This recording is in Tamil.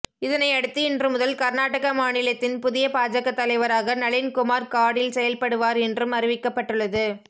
இதனையடுத்து இன்று முதல் கர்நாடக மாநிலத்தின் புதிய பாஜக தலைவராக நளின் குமார் காடீல் செயல்படுவார் என்றும் அறிவிக்கப்பட்டுள்ளது